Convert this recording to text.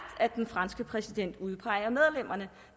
at den franske præsident udpeger medlemmerne